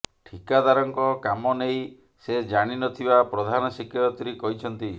ଠିକାଦାରଙ୍କ କାମ ନେଇ ସେ ଜାଣିନଥିବା ପ୍ରଧାନ ଶିକ୍ଷୟତ୍ରୀ କହିଛନ୍ତି